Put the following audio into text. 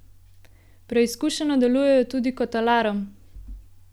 Preizkušeno delujejo tudi kot alarm!